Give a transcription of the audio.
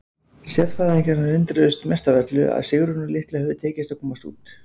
Sérfræðingarnir undruðust mest af öllu að Sigrúnu litlu hefði tekist að komast út.